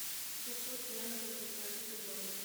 шестьсот юаней в австралийских долларах